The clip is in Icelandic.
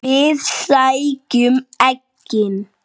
Við sækjum eggin.